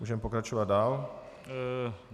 Můžeme pokračovat dál.